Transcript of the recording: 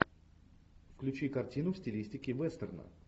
включи картину в стилистике вестерна